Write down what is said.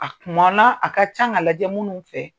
A kuma la a ka kan ka lajɛ minnu fɛ